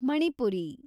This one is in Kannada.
ಮಣಿಪುರಿ